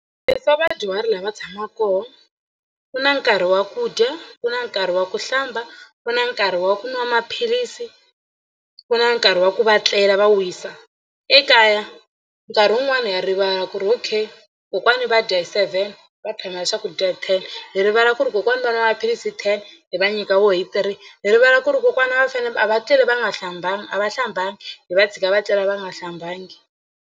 vadyuhari laha va tshamaka kona ku na nkarhi wa ku dya ku na nkarhi wa ku hlamba ku na nkarhi wa ku nwa maphilisi ku na nkarhi wa ku va tlela va wisa. Ekaya nkarhi wun'wani ha rivala ku ri okay kokwana va dya hi seven va phamela swakudya hi ten hi rivala ku ri kokwani va nwa maphilisi hi ten hi va nyika wo hi three. Hi rivala ku ri kokwana a va fanele a va tleli va nga hlambanga a va hlambanga hi va tshika va tlela va nga hlambangi.